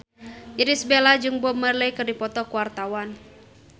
Irish Bella jeung Bob Marley keur dipoto ku wartawan